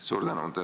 Suur tänu!